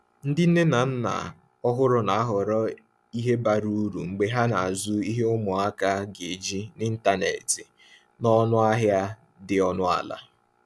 Ndị nne na nna ọhụrụ na-ahọrọ ihe bara uru mgbe ha na-azụ ihe ụmụaka ga-eji n’ịntanetị n’ọnụ ahịa dị ọnụ ala.